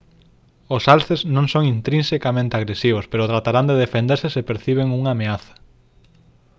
os alces non son intrinsecamente agresivos pero tratarán de defenderse se perciben unha ameaza